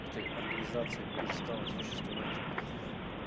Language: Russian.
эта организация перестала существовать